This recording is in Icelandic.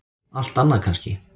Allt annað kannski.